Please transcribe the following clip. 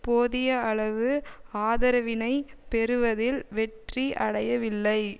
போதிய அளவு ஆதரவினைப் பெறுவதில் வெற்றி அடையவில்லை